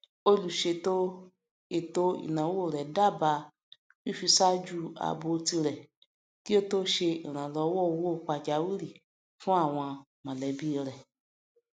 olùṣètò ètò ináwó rẹ dábàá fífiṣájú ààbò tirẹ kí ó tó ṣe ìrànlọwọ owó pàjáwìrì fún àwọn mọlẹbí rẹ